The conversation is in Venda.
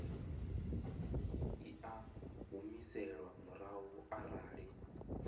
i a humiselwa murahu arali